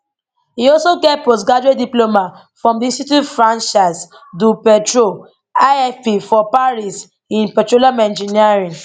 e also get postgraduate diploma from di institute francaise du petrol ifp for paris in petroleum engineering